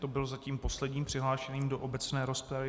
To byl zatím poslední přihlášený do obecné rozpravy.